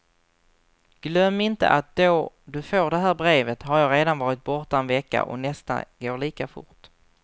Glöm inte att då du får det här brevet, har jag redan varit borta en vecka och nästa går lika fort.